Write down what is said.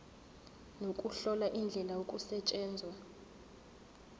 nokuhlola indlela okusetshenzwa